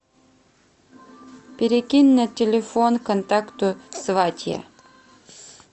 перекинь на телефон контакту сватья